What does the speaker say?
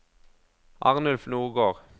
Arnulf Nordgård